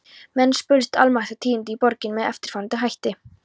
Menn spurðust almæltra tíðinda í borginni með eftirfarandi hætti